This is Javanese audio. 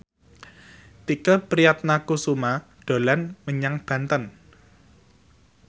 Tike Priatnakusuma dolan menyang Banten